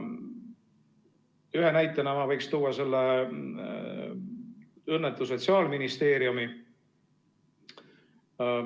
Ühe näitena võiks tuua selle õnnetu Sotsiaalministeeriumi.